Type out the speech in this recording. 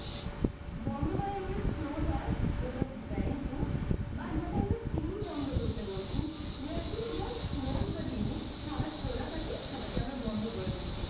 বন্ধ করার english close হয় this is very true but যখন আমরা TV বন্ধ করতে বলছি close the TV খাতা খোলা থাকে খাতাকে আমরা বন্ধ করে দিচ্ছি ।